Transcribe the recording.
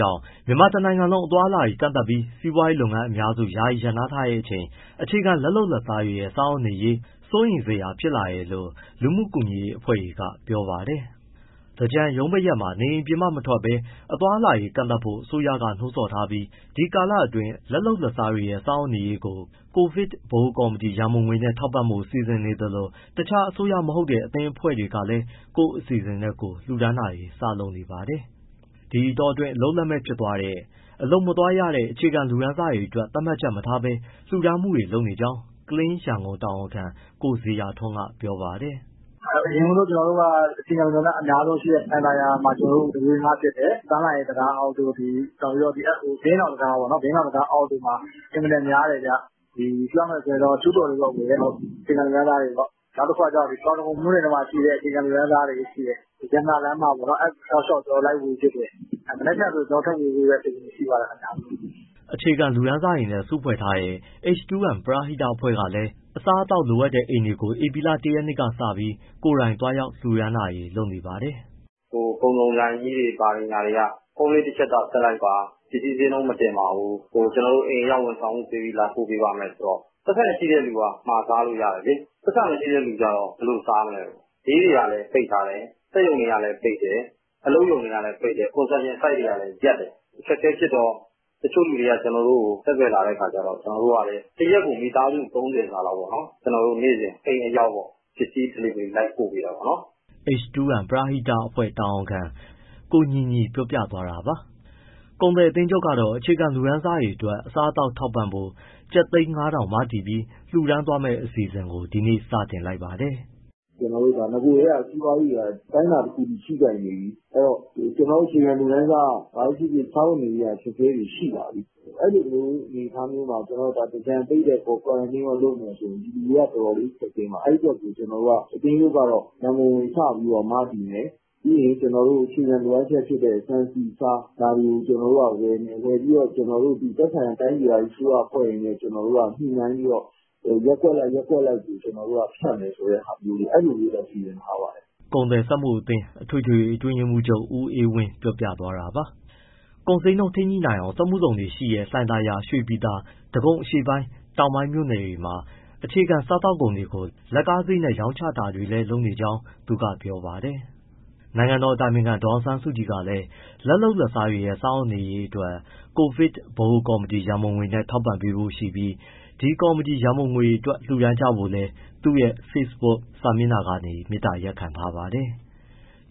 ကြောင့် မြန်မာတနိုင်ငံလုံး အသွားအလာတွေ ကန့်သတ်ပြီး စီးပွားရေးလုပ်ငန်းအများစု ယာယီရပ်နားထားချိန် အခြေခံ လက်လုပ်လက်စားတွေရဲ့ စားဝတ်နေရေး စိုးရိမ်စရာဖြစ်လာတယ်လို့ လူမှုကူညီရေး အဖွဲ့တွေက ပြောပါတယ်။ ဒီအကြောင်း ဗွီအိုအေမြန်မာပိုင်း သတင်းထောက် ကိုဇော်ထက်က တင်ပြပေးပါမယ်။ သင်္ကြန်ရုံးပိတ်ရက်မှာ နေအိမ်ပြင်ပ မထွက်ဘဲ အသွားအလာတွေ ကန့်သတ်ဖို့ အစိုးရက နှိုးဆော်ထားပြီး ဒီကာလအတောအတွင်း လက်လုပ်လက်စားတွေရဲ့ စားဝတ်နေရေးကို COVID ဗဟိုကော်မတီ ရန်ပုံငွေနဲ့ ထောက်ပံ့ဖို့ စီစဉ်နေသလို တခြား အစိုးရမဟုတ်တဲ့ အသင်းအဖွဲ့တွေကလည်း ကိုယ့်အစီအစဉ်နဲ့ ကိုယ်လှူဒါန်းတာတွေ စလုပ်နေပါတယ်။ ဒီအတောအတွင်း အလုပ်လက်မဲ့ဖြစ်သွားတဲ့၊ အလုပ်မသွားရတဲ့ အခြေခံလူတန်းစားတွေအတွက် သတ်မှတ်ချက်တွေ မထားဘဲ လှူဒါန်းနေကြောင်း Clean Yangon တာဝန်ခံ ကိုဇေယျာထွန်းက ပြောပါတယ်။ “အရင်ဦးဆုံး ကျနော်တို့က အခြေခံလူတန်းစား အများဆုံးရှိတဲ့ လှိုင်သာယာမှာ ကျနော်တို့ ဝေငှဖြစ်တယ်၊ ပန်းလှိုင်တံတားအောက်တို့၊ ဘုရင့်နောင်တံတား အောက်တွေမှာ အင်မတန်များတယ်ဗျ။ ပြောရမယ်ဆိုရင် ကျူးကျော်တွေပေါ့၊ အခြေခံလူတန်းစားတွေပေါ့။ နောက်တခုက တောင်ဒဂုံ မြို့နယ်ထဲမှာရှိတဲ့ အခြေခံလူတန်းစားတွေ၊ ရတနာလမ်းမပေါ့ အဲတောက်လျှောက် ကျနော်တို့ လိုက်ဝေဖြစ်တယ်။ မနက်ဖြန်လည်း ကျနော်တို့ ထပ်ဝေဖို့ အစီအစဉ်ရှိပါတယ်။” အခြေခံလုပ်သားတွေနဲ့ စုဖွဲ့ထားတဲ့ H2M ပရဟိတကလည်း အစားအသောက်လိုအပ်တဲ့ အိမ်တွေကို ဧပြီလ ၁ ရက်က စပြီး ကိုယ်တိုင်သွားရောက် လှူဒါန်းတာတွေ လုပ်နေပါတယ်။ “ကုန်စုံဆိုင်ကြီးတွေ ဘာတွေ၊ ညာတွေက ဖုန်းလေးတချက်သာ ဆက်လိုက်ပါ ပစ္စည်းဈေးနှုန်း မတင်ပါဘူး အိမ်အရောက်ဝန်ဆောင်မှု ပေးပါမယ်ဆိုတော့ ပိုက်ဆံရှိတဲ့သူက မှာစားလို့ရတယ်လေ။ ပိုက်ဆံမရှိတဲ့သူက ဘယ်လိုစားမလဲ။ ဈေးတွေကလည်း ပိတ်တယ်၊ စက်ရုံတွေကလည်း ပိတ်တယ်၊ အလုပ်ရုံတွေလည်း ပိတ်တယ်၊ construction site တွေကလည်းရပ်တယ်။ အခက်အခဲဖြစ်တော့ တချို့လူတွေက ကျနော်တို့ကို ဆက်သွယ်လာတဲ့ အခါကျတော့ ကျနော်တို့က တရက်ကို မိသားစု ၃၀ စာလောက် နေ့စဉ်အိမ်အရောက် ပစ္စည်း delivery လိုက်ပို့ပေးတာပေါ့။” H2M ပရဟိတအဖွဲ့တာဝန်ခံ ကိုညီညီပြောပြသွားတာပါ။ ကုန်သည်အသင်းချုပ်ကတော့ အခြေခံလူတန်းစားတွေအတွက် အစားအသောက်ထောက်ပံ့ဖို့ ကျပ်သိန်း ၁,၅၀၀ မတည်ပြီး လှူဒါန်းသွားမယ့် အစီအစဉ်ကို ဒီနေ့စတင်လိုက်ပါတယ်။ “နဂိုကတည်းက စီးပွားရေးတွေက အတိုင်းအတာတခုအထိ ထိခိုက်နေပြီ၊ အဲဒီတော့ ကျနော်တို့ အခြေခံလူတန်းစား ဘာပဲဖြစ်ဖြစ် စားဝတ်နေရေးက အခက်အခဲတွေ ရှိလာပြီ။ အဲဒီလို အနေအထားမျိုးမှာ သင်္ကြန်ပိတ်တယ်၊ Quarantine ရော လုပ်မယ်ဆိုရင် ပြည်သူတွေက အတော်လေးခက်ခဲမှာ။ အဲဒီအတွက် ကျနော်တို့က အသင်းချုပ်က ရံပုံငွေစပြီး မတည်မယ်၊ ပြီးရင် အခြေခံလိုအပ်ချက်ဖြစ်တဲ့ ဆန်၊ ဆီ၊ ဆား ဝယ်မယ်။ ဝယ်ပြီး သက်ဆိုင်ရာ တိုင်းဒေသကြီး အစိုးရအဖွဲ့တွေနဲ့ ညှိနှိုင်းပြီး ရပ်ကွက်အလိုက် ဖြန့်မယ်ဆိုတဲ့ ဟာမျိုးတွေ စီစဉ်ထားပါတယ်။” ကုန်သည်စက်မှုအသင်း အထွေထွေအတွင်းရေးမှူးချုပ် ဦးအေးဝင်း ပြောသွားတာပါ။ ကုန်ဈေးနှုန်း ထိန်းညှိနိုင်အောင် စက်မှုဇုံတွေရှိတဲ့ လှိုင်သာယာ၊ ရွှေပြည်သာ၊ ဒဂုံအရှေ့ပိုင်း တောင်ပိုင်းမြို့နယ်တွေမှာ အခြေခံစားသောက်ကုန်တွေကို လက်ကားဈေးနဲ့ ရောင်းချတာကိုလည်း လုပ်နေကြောင်း သူက ပြောပါတယ်။ နိုင်ငံတော်အတိုင်ပင်ခံဒေါ်အောင်ဆန်းစုကြည်ကလည်း လက်လုပ်လက်စားတွေရဲ့ စားဝတ်နေရေးအတွက် COVID ဗဟိုကော်မတီရံပုံငွေနဲ့ ထောက်ပံ့ပေးဖို့ ရှိပြီး ဒီကော်မတီ ရန်ပုံငွေအတွက် လှူဒါန်းကြဖို့လည်း သူ့ရဲ့ Facebook စာမျက်နှာကနေ မေတ္တာရပ်ခံထားပါတယ်။